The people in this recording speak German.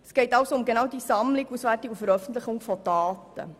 Es geht also um die Sammlung, Auswertung und Veröffentlichung von Daten.